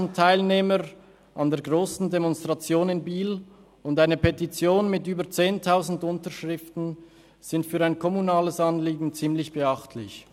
4000 Teilnehmer an der grössten Demonstration in Biel und eine Petition mit über 10 000 Unterschriften sind für ein kommunales Anliegen ziemlich beachtlich.